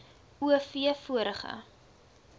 o v vorige